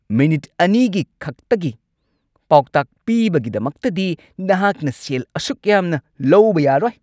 Minute ꯲ꯒꯤ ꯈꯛꯇꯒꯤ ꯄꯥꯎꯇꯥꯛ ꯄꯤꯕꯒꯤꯗꯃꯛꯇꯗꯤ ꯅꯍꯥꯛꯅ ꯁꯦꯜ ꯑꯁꯨꯛ ꯌꯥꯝꯅ ꯂꯧꯕ ꯌꯥꯔꯣꯏ!